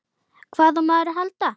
Hvað á maður að halda?